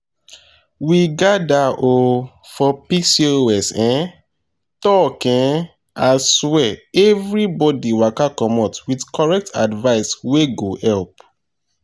we gather um for pcos um talk um aswear everybody waka commot with correct advice wey go help.